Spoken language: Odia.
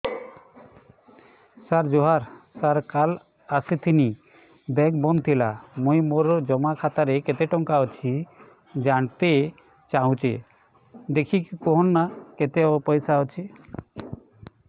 ସାର ଜୁହାର ସାର କାଲ ଆସିଥିନି ବେଙ୍କ ବନ୍ଦ ଥିଲା ମୁଇଁ ମୋର ଜମା ଖାତାରେ କେତେ ଟଙ୍କା ଅଛି ଜାଣତେ ଚାହୁଁଛେ ଦେଖିକି କହୁନ ନା କେତ ପଇସା ଅଛି